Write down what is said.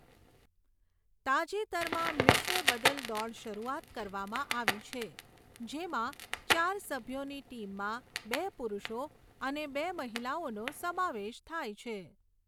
તાજેતરમાં, મિશ્ર બદલ દોડ શરૂઆત કરવામાં આવી છે, જેમાં ચાર સભ્યોની ટીમમાં બે પુરુષો અને બે મહિલાઓનો સમાવેશ થાય છે.